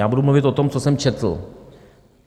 Já budu mluvit o tom, co jsem četl.